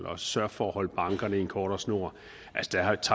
at sørge for at holde bankerne i en kortere snor